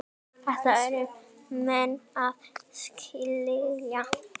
Þetta yrðu menn að skilja.